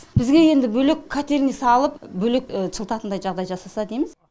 бізге енді бөлек котельный салып бөлек жылытатындай жағдай жасаса дейміз